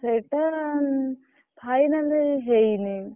ସେଇଟା final ହେଇନି।